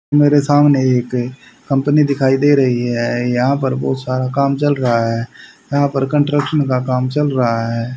मेरे सामने एक कंपनी दिखाई दे रही है यहां पर बहुत सारा काम चल रहा है यहां पर कंस्ट्रक्शन का काम चल रहा है।